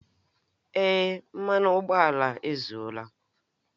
Èé, mmanụ ụgbọala ezuola